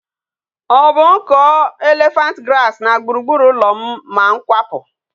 O bu m kuo elephant grass na gburugburu ulo m ma m kwapu?